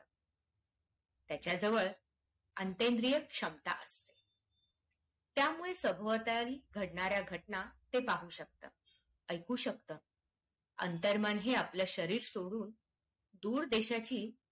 त्याच्या जवळ अन्त्रन्द्रिय क्षमता असते त्यामुळे सभोवताली घटनां ते पाहू शकतात ऐकू शकतात. अंतर मन हे आपल्या शरीर सोडून दूर देशाची